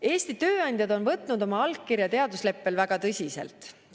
Eesti tööandjad on võtnud oma allkirja teadusleppel väga tõsiselt.